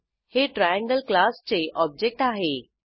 हे ट्रायंगल क्लासचे ऑब्जेक्ट आहे